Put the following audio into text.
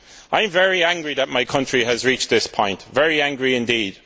I am very angry that my country has reached this point very angry indeed.